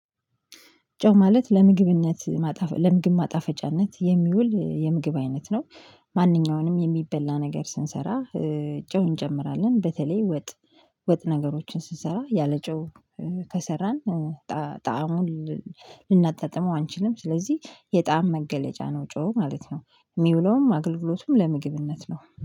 ጨው ማለት ለምግብነት ለምግብ ማጣፈጫነት የሚውል የምግብ አይነት ነው። ማንኛውንም የሚበላ ነገር ስንሰራ ጨው እንጨምራለን በተለይ ወጥ ወጥ ነገሮችን ስንሰራ ያለ ጮህ ከሰራን ጣዕሙን ልናጣጥመው አንችልም። ስለዚህ የጣዕም መገለጫ ነው ጨው ማለት ነው። የሚውለውም አገልግሎቱም ለምግብነት ነው